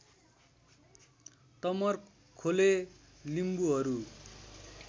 Tamarkhole लिम्बुहरू